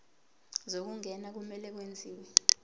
zokungena kumele kwenziwe